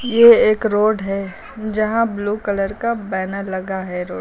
ये एक रोड है जहां ब्लू कलर का बैनर लगा है रोड --